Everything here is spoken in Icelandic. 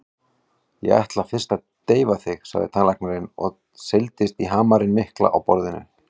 Ég ætla fyrst að deyfa þig, sagði tannlæknirinn og seildist í hamarinn mikla á borðinu.